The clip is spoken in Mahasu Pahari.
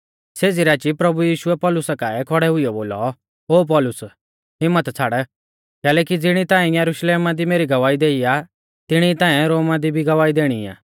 सेज़ी राची प्रभु यीशुऐ पौलुसा काऐ खौड़ै हुइयौ बोलौ ओ पौलुस हिम्मत छ़ाड़ कैलैकि ज़िणी ताऐं यरुशलेमा दी मेरी गवाही देई आ तिणी ई ताऐं रोमा दी भी गवाही देणी आ